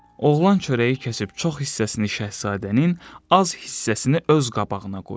Oğlan çörəyi kəsib çox hissəsini şahzadənin, az hissəsini öz qabağına qoyur.